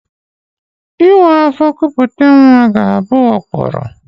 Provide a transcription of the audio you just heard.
Ịwa afọ kupute nwa ga-abụ ụkpụrụ